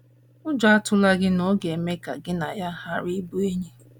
Ụjọ atụla gị na ọ ga - eme ka gị na ya gharazie ịbụ enyi!